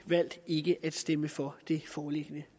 valgt ikke at stemme for det foreliggende